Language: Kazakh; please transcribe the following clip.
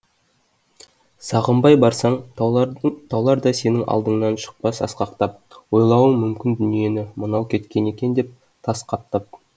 сағынбай барсаң таулар да сенің алдыңнан шықпас асқақтап ойлауың мүмкін дүниені мынау кеткен екен деп тас қаптап